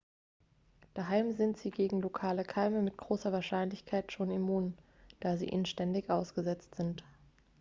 daheim sind sie gegen lokale keime mit großer wahrscheinlichkeit schon immun da sie ihnen ständig ausgesetzt sind